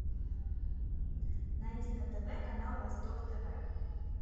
найди на тв канал восток тв